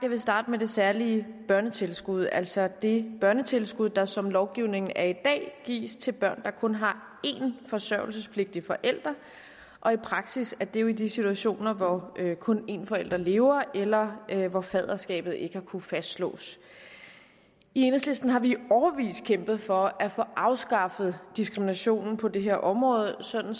starte med det særlige børnetilskud altså det børnetilskud der som lovgivningen er i dag gives til børn der kun har én forsørgelsespligtig forælder og i praksis er det jo i de situationer hvor kun en forælder lever eller hvor faderskabet ikke har kunnet fastslås i enhedslisten har vi i årevis kæmpet for at få afskaffet diskriminationen på det her område sådan